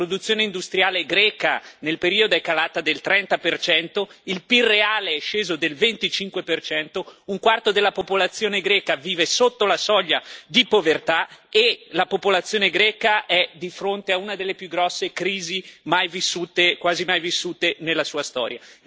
La produzione industriale greca nel periodo è calata del 30 il PIL reale è sceso del 25 un quarto della popolazione greca vive sotto la soglia di povertà e la popolazione greca è di fronte a una delle più grosse crisi mai vissute quasi mai vissute nella sua storia.